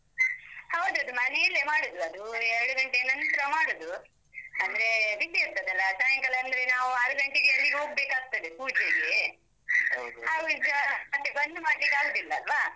ಹೌದೌದು. ಮನೆಯಲ್ಲೇ ಮಾಡುದು. ಅದೂ, ಎರಡು ಗಂಟೆ ನಂತ್ರ ಮಾಡುದು. ಅಂದ್ರೆ ಬಿಸಿ ಇರ್ತದಲ್ಲ, ಸಾಯಂಕಾಲ ಅಂದ್ರೆ ನಾವು ಆರು ಗಂಟೆಗೆ ಅಲ್ಲಿಗೆ ಹೋಗ್ಬೇಕಾಗ್ತದೆ, ಪೂಜೆಗೆ.. ಬಂದು ಮಾಡ್ಲಿಕ್ ಆಗೋದಿಲ್ಲ ಅಲ್ವಾ.